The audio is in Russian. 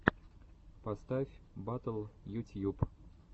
поставь батл ютьюб